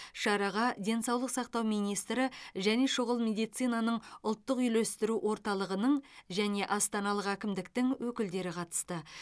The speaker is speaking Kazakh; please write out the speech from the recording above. шараға денсаулық сақтау министрі және шұғыл медицинаның ұлттық үйлестіру орталығының және астаналық әкімдіктің өкілдері қатысты